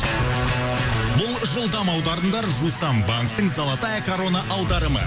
бұл жылдам аударымдар жусан банктің золотая корона аударымы